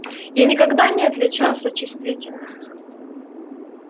я никогда не отличался чувствительностью